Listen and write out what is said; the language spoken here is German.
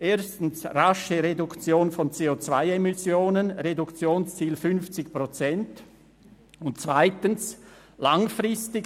1. Rasche Reduktion von CO-Emissionen, Reduktionsziel von 50 Prozent, und 2. langfristig: